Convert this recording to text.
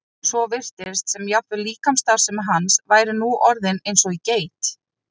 svo virtist sem jafnvel líkamsstarfsemi hans væri nú orðin eins og í geit.